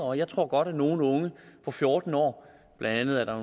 og jeg tror godt at nogle unge på fjorten år blandt andet er der